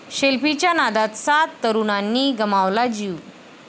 सेल्फीच्या नादात सात तरुणांनी गमावला जीव